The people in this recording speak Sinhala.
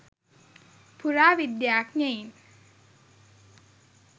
පුරාවිද්‍යාඥයින්